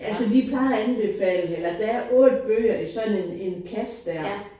Altså de plejer at anbefale det eller der er 8 bøger i sådan en kasse der